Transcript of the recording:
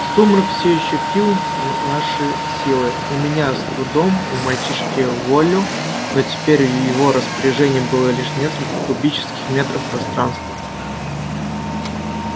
сумрак все ещё пил наши силы у меня с трудом у мальчишки вволю но теперь в его распоряжении было лишь несколько кубических метров пространства